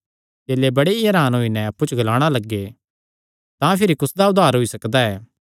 चेले बड़े ई हरान होई नैं अप्पु च ग्लाणा लग्गे तां भिरी कुसदा उद्धार होई सकदा ऐ